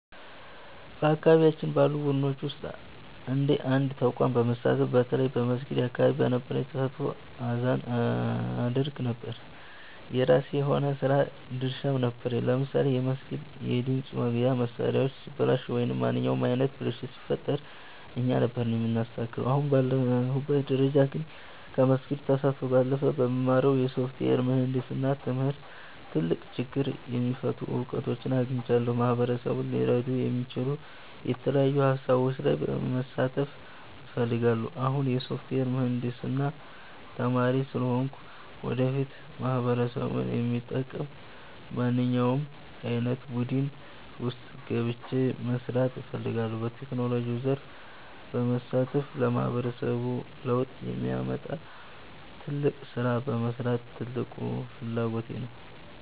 በአካባቢያችን ባሉ ቡድኖች ውስጥ እንደ አንድ ተቋም በመሳተፍ፣ በተለይ በመስጊድ አካባቢ በነበረኝ ተሳትፎ አዛን አደርግ ነበር። የራሴ የሆነ የሥራ ድርሻም ነበረኝ፤ ለምሳሌ የመስጊዱ የድምፅ ማጉያ መሣሪያዎች ሲበላሹ ወይም ማንኛውም ዓይነት ብልሽት ሲፈጠር እኛ ነበርን የምናስተካክለው። አሁን ባለሁበት ደረጃ ግን፣ ከመስጊድ ተሳትፎ ባለፈ በምማረው የሶፍትዌር ምህንድስና ትምህርት ትልቅ ችግር የሚፈቱ እውቀቶችን አግኝቻለሁ። ማህበረሰቡን ሊረዱ የሚችሉ የተለያዩ ሃሳቦች ላይ መሳተፍ እፈልጋለሁ። አሁን የሶፍትዌር ምህንድስና ተማሪ ስለሆንኩ፣ ወደፊት ማህበረሰቡን የሚጠቅም በማንኛውም ዓይነት ቡድን ውስጥ ገብቼ መሥራት እፈልጋለሁ። በቴክኖሎጂው ዘርፍ በመሳተፍ ለማህበረሰቡ ለውጥ የሚያመጣ ትልቅ ሥራ መሥራት ትልቁ ፍላጎቴ ነው።